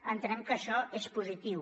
entenem que això és positiu